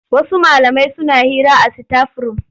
Wasu malamai suna hira a sitaf-rum.